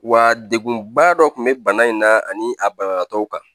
Wa degunba dɔ tun bɛ bana in na ani a banabagatɔw kan